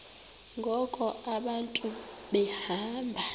ngoku abantu behamba